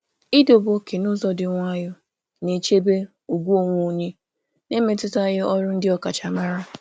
Ịtọ ókè n’ụzọ dị jụụ na-echebe ugwu onwe onye na-emetụtaghị ọrụ ọkachamara.